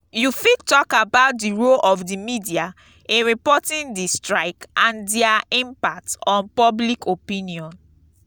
you fit talk about di role of di media in reporting di strike and dia impact on public opinion.